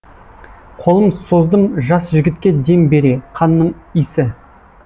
қолым создым жас жігітке дем бере қанның исі